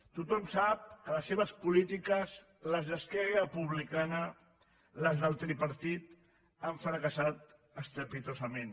tothom sap que les seves polítiques les d’esquerra republicana les del tripartit han fracassar estrepitosament